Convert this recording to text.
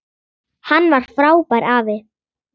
Hann var frábær afi.